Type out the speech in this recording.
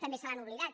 també se l’han oblidat